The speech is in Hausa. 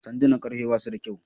Sandunan karfe basu da kyau.